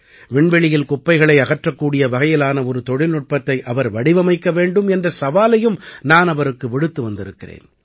விண்வெளியில் குப்பைகளை அகற்றக்கூடிய வகையிலான ஒரு தொழில்நுட்பத்தை அவர் வடிவமைக்க வேண்டும் என்ற சவாலையும் நான் அவருக்கு விடுத்து வந்திருக்கிறேன்